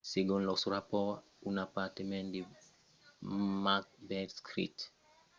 segon los rapòrts un apartament de macbeth street explosèt per encausa d’un escapament de gas